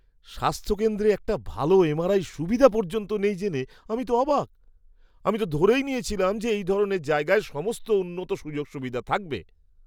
স্বাস্থ্যকেন্দ্রে একটা ভালো এমআরআই সুবিধা পর্যন্ত নেই জেনে আমি তো অবাক! আমি তো ধরেই নিয়েছিলাম যে এই ধরনের জায়গায় সমস্ত উন্নত সুযোগ সুবিধা থাকবে।